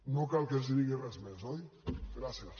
no cal que els digui res més oi gràcies